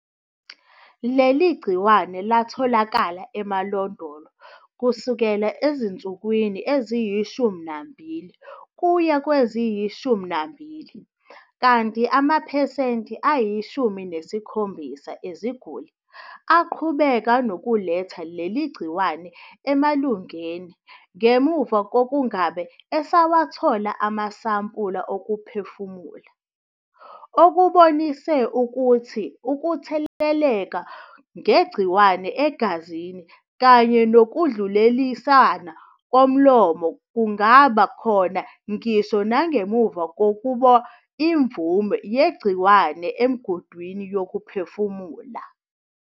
Leli gciwane latholakala emalondolo kusukela ezinsukwini eziyishumi nambili kuya kweziyishumi nambili, kanti amaphesenti ayishumi nesikhombisa eziguli aqhubeka nokuletha leli gciwane emalungeni ngemuva kokungabe esawathola amasampula okuphefumula, okubonisa ukuthi ukutheleleka ngegciwane egazini kanye nokudluliselwa komlomo kungaba khona ngisho nangemva kokuba imvume yegciwane emgudwini wokuphefumula.